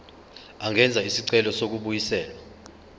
angenza isicelo sokubuyiselwa